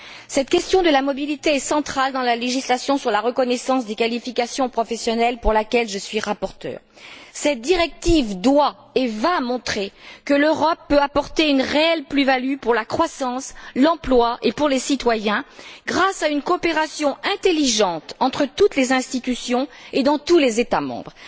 Cette question de la mobilité est centrale dans la législation sur la reconnaissance des qualifications professionnelles pour laquelle je suis rapporteure. Cette directive doit et va montrer que l'Europe peut apporter une réelle plus value pour la croissance, pour l'emploi et pour les citoyens, grâce à une coopération intelligente entre toutes les institutions et dans tous les États membres.